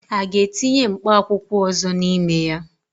A ga-etinye mkpa akwụkwọ ọzọ n'ime ya?